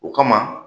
O kama